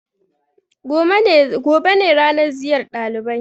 Gobe ne ranan ziyar ɗalibai.